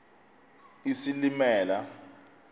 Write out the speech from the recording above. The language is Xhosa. isilimela